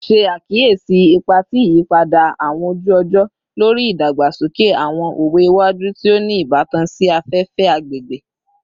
Ṣe akiyesi ipa ti iyipada awọn oju-ọjọ lori idagbasoke awọn owe iwaju ti o ni ibatan si afefe / agbegbe